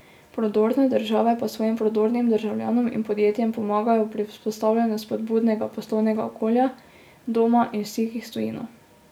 Prodorne države pa svojim prodornim državljanom in podjetjem pomagajo pri vzpostavljanju spodbudnega poslovnega okolja, doma in v stikih s tujino.